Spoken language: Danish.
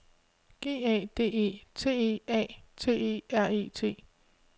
G A D E T E A T E R E T